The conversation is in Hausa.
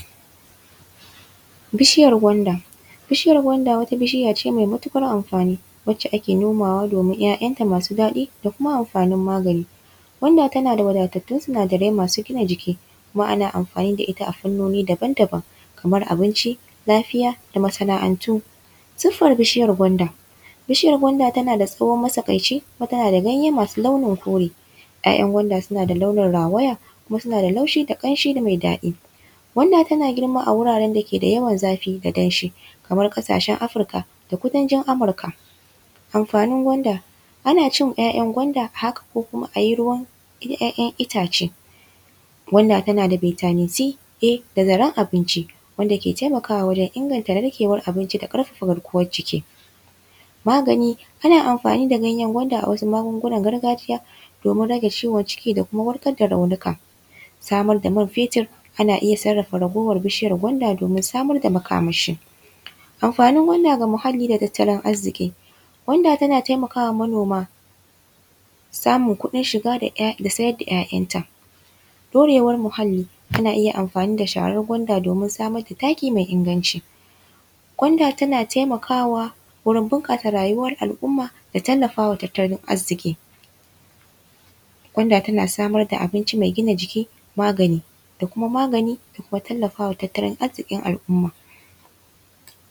Bishiyar gwanda. Bishiyar gwanda wata bishiya ce maimatuƙar amfani wacce ake nomawa domin ‘ya’yanta masu daɗi da kuma amfanin magani. Gwanda tana da wadatattun sinadarai masu gina jiki kuma ana amfani da ita a fannoni daban daban kamar abinci, lafiya da masana’antu. Siffar bishiyar gwanda: bishiyar gwanda tana da tsawo matsakaici, tana da ganye masu launin kore, ‘ya’yan gwanda suna da launin rawaya, kuma suna da laushi da ƙanshi mai daɗi. Gwanda tana girma a wurin da ke da yawan zafi da danshi kamar ƙasashen Africa da kudancin Amurka. Amfanin gwanda: ana cin ‘ya’yan gwanda haka ko kuma a yi ruwan ‘ya’yan itace. Gwanda tana da vitamin C, A da zaren abinci wanda ke taimakawa wajen inganta narkewar abinci da ƙarfafa garkuwar jiki. Magani: ana amfani da ganyen gwanda a wasu magungunan gargajiya domin rage ciwon ciki da kuma warkar da raunuka. Samar da man fetur: ana iya sarrafa ragowar bishiyar gwanda domin samar da makamashi. Amfanin gwanda ga muhalli da tattalin arziƙi: gwanda tana taimaka wa manoma samun kuɗin shiga da siyar da ‘ya’yanta. Ɗorewar muhalli: ana iya amfani da sharar gwanda domin samar da taki mai inganci. Gwanda tana taimakawa wurin bunƙasa rayuwar al’umma da tallafa wa tattalin arziƙi. Gwanda tana samar da abinci mai gina jiki, magani da kuma magani da kuma tallafa wa tattalin arziƙin al’umma.